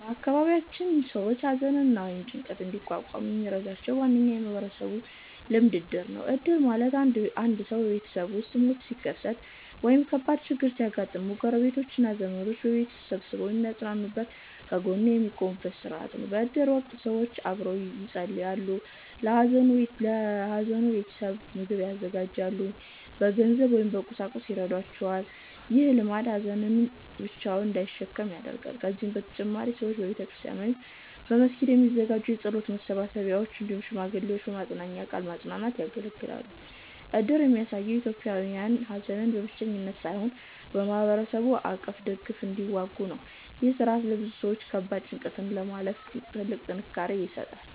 በአካባቢያችን ሰዎች ሐዘንን ወይም ጭንቀትን እንዲቋቋሙ የሚረዳቸው ዋነኛ የማህበረሰብ ልማድ እድር ነው። እድር ማለት አንድ ሰው ቤተሰቡ ውስጥ ሞት ሲከሰት ወይም ከባድ ችግር ሲያጋጥመው፣ ጎረቤቶች እና ዘመዶች በቤቱ ተሰብስበው የሚያጽናኑበት፣ ከጎኑ የሚቆሙበት ሥርዓት ነው። በእድር ወቅት ሰዎች አብረው ይጸልያሉ፣ ለሐዘኑ ቤተሰብ ምግብ ያዘጋጃሉ፣ በገንዘብ ወይም በቁሳቁስ ይረዷቸዋል። ይህ ልማድ ሀዘንን ብቻውን እንዳይሸከም ያደርጋል። ከዚህ በተጨማሪ ሰዎች በቤተክርስቲያን ወይም በመስጊድ የሚዘጋጁ የጸሎት መሰብሰቢያዎች፣ እንዲሁም ሽማግሌዎች በመጽናናት ቃል ማጽናናት ያገለግላሉ። እድር የሚያሳየው ኢትዮጵያውያን ሐዘንን በብቸኝነት ሳይሆን በማህበረሰብ አቀፍ ድጋፍ እንደሚዋጉ ነው። ይህ ሥርዓት ለብዙ ሰዎች ከባድ ጭንቀትን ለማለፍ ትልቅ ጥንካሬ ይሰጣል።